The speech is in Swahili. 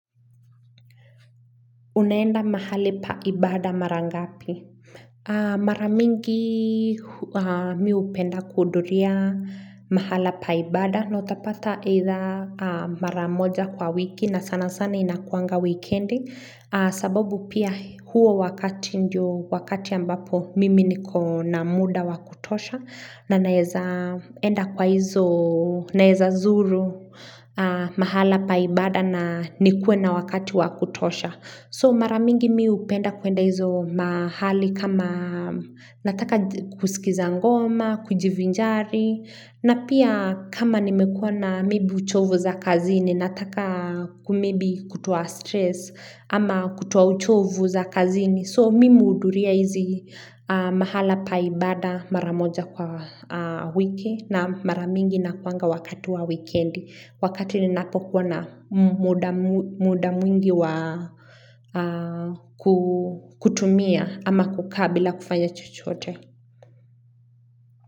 Unaenda mahali pa ibada mara ngapi? Mara mingi mi hupenda kuhudhuria mahala pa ibada. Na utapata either mara moja kwa wiki na sana sana inakuanga wikendi. Sababu pia huo wakati ndio wakati ambapo mimi niko na muda wa kutosha. Na naeza enda kwa hizo naeza zuru mahala pa ibada na nikuwe na wakati wa kutosha. So mara mingi mi hupenda kuenda hizo mahali kama nataka kusikiza ngoma, kujivinjari na pia kama nimekuwa na maybe uchovu za kazini nataka maybe kutoa stress ama kutuwa uchovu za kazini. So mimi huhudhuria hizi mahala pa ibada mara moja kwa wiki na mara mingi inakuanga wakati wa wikendi. Wakati ninapo kuwa na muda mwingi wa kutumia ama kukaa bila kufanya chochote.